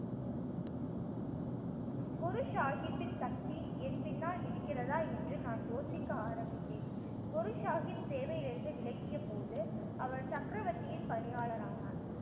குரு சாஹிப்பின் சக்தி என் பின்னால் இருக்கிறதா என்று நான் யோசிக்க ஆரம்பித்தேன். குரு சாஹிப் சேவையில் இருந்து விலகிய போது அவர் சக்கரவத்தியின் பணியாளர் ஆனார்